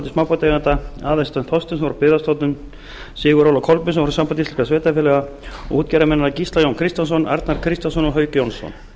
smábátaeigenda aðalstein þorsteinsson frá byggðastofnun sigurð óla kolbeinsson frá sambandi íslenskra sveitarfélaga og útgerðarmennina gísla jón kristjánsson arnar kristjánsson og hauk jónsson